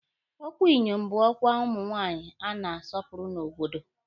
Ọkwa Inyom bụ ọkwa ụmụ nwaanyị a na-asọpụrụ n'obodo.